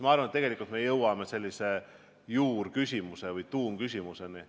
Ma arvan, tulles korraks põllumajandussektorist välja, et me jõuame juurküsimuse või tuumküsimuseni.